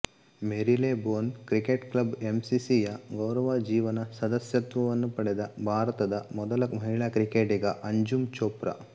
Marylebone cricket club MCC ಯ ಗೌರವ ಜೀವನ ಸದಸ್ಯತ್ವವನ್ನು ಪಡೆದ ಭಾರತದ ಮೊದಲ ಮಹಿಳಾ ಕ್ರಿಕೆಟಿಗ ಅಂಜುಮ್ ಚೋಪ್ರಾ